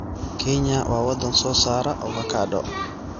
Kenya waa wadan soo saara avocado.